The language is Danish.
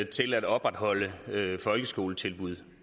til at opretholde folkeskoletilbud